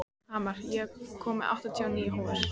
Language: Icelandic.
Hamar, ég kom með áttatíu og níu húfur!